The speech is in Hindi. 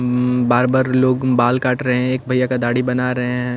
उम्म बार-बार लोग बाल काट रहे हैं एक भैया का दाढ़ी बना रहे हैं।